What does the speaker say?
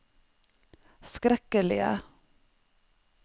skrekkelige